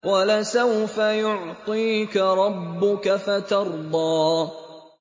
وَلَسَوْفَ يُعْطِيكَ رَبُّكَ فَتَرْضَىٰ